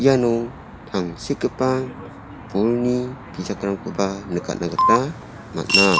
iano tangsekgipa bolni bijakrangkoba nikatna gita man·a.